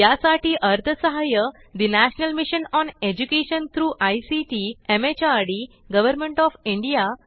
यासाठी अर्थसहाय्य national mission on education through ICT MHRD government O F India यांच्याकडून मिळालेले आहे